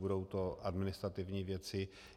Budou to administrativní věci.